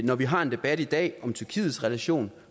når vi har en debat i dag om tyrkiets relation